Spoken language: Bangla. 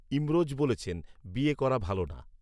ইমরোজ বলেছেন, বিয়ে করা ভালো না